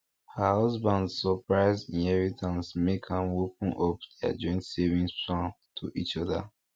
her husband surprise inheritance make am open up their joint saving plans to each other